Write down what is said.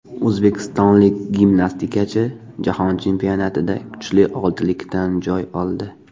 O‘zbekistonlik gimnastikachi Jahon chempionatida kuchli oltilikdan joy oldi.